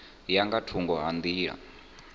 ya nga thungo ha nḓila